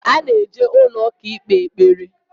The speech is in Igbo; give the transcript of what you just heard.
A na-eje ụlọ ụka ikpe ekpere